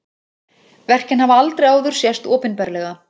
Verkin hafa aldrei áður sést opinberlega